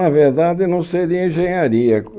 Na verdade, não seria engenharia.